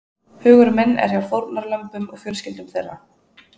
Hugur minn er hjá fórnarlömbum og fjölskyldum þeirra.